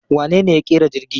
Wanene ya ƙera jirgi?